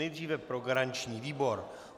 Nejdříve pro garanční výbor.